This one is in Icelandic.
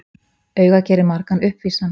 Augað gerir margan uppvísan.